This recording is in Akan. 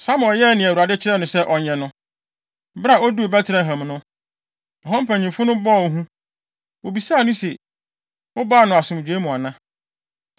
Samuel yɛɛ nea Awurade kyerɛɛ no sɛ ɔnyɛ no. Bere a oduu Betlehem no, ɛhɔ mpanyimfo no bɔɔ hu. Wobisaa no se, “Wobaa no asomdwoe mu ana?”